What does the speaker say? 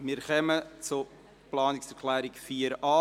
Wir kommen zu Planungserklärung 4.a.